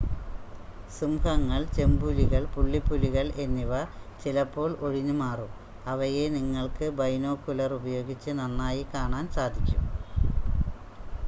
സിംഹങ്ങൾ ചെമ്പുലികൾ പുള്ളിപ്പുലികൾ എന്നിവ ചിലപ്പോൾ ഒഴിഞ്ഞ് മാറും അവയെ നിങ്ങൾക്ക് ബൈനോക്കുലർ ഉപയോഗിച്ച് നന്നായി കാണാൻ സാധിക്കും